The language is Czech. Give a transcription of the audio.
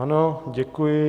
Ano, děkuji.